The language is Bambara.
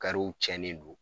w tiɲɛnen don